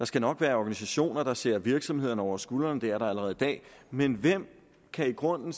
skal nok være organisationer der ser virksomhederne over skuldrene det er der allerede i dag men hvem kan i grunden